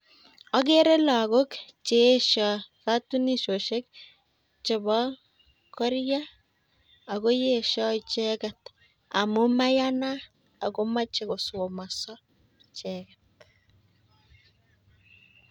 Agere lagok cheesho katunisioshek chebo koria, ago yesho icheget amun mayanat ago moche kosomaso icheget.